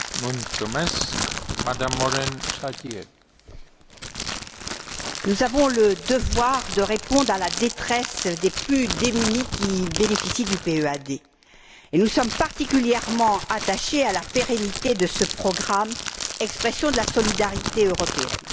Monsieur le Président, nous avons le devoir de répondre à la détresse des plus démunis qui bénéficient du PEAD. Et nous sommes particulièrement attachés à la pérennité de ce programme, expression de la solidarité européenne.